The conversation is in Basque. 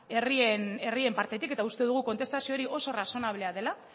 herrien partetik eta uste dugu kontestazio hori oso razonablea dela